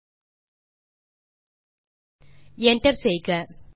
Enter செய்க